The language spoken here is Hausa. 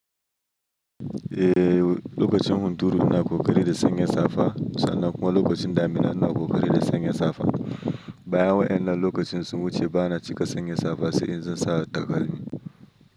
Eh, lokacin hunturu ina ƙoƙari da sanyin safiya, sannan kuma lokacin damina ina ƙoƙari da sanyin safiya. Bayan wa 'yanan lokacin sunwu ce, bana cika sanya safa sai in zansa takalmi.